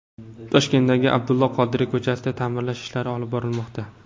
Toshkentdagi Abdulla Qodiriy ko‘chasida ta’mirlash ishlari olib borilmoqda.